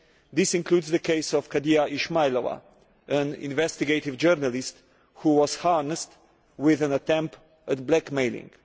This includes the case of Khadija Ismaylova, an investigative journalist who was harassed, with an attempt at blackmailing.